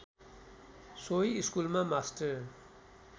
सोही स्कुलमा मास्टर